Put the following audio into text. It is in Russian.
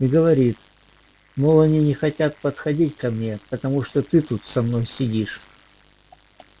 и говорит мол они не хотят подходить ко мне потому что ты тут со мной сидишь